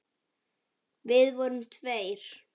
Við vorum tveir.